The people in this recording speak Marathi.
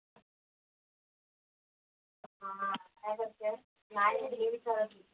काय बोलतेस? काय हे नेहमीच